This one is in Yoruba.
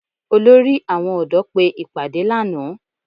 Olórí àwọn ọ̀dọ́ pé ìpàdé lánàá